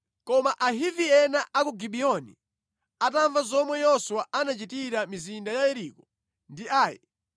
Koma Ahivi ena a ku Gibiyoni atamva zomwe Yoswa anachitira mizinda ya Yeriko ndi Ai,